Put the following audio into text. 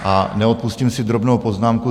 A neodpustím si drobnou poznámku.